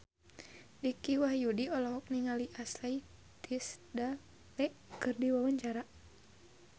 Dicky Wahyudi olohok ningali Ashley Tisdale keur diwawancara